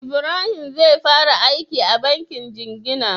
Ibrahim zai fara aiki a bankin jingina